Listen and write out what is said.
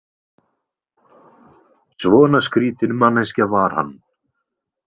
Svona skrýtin manneskja var hann.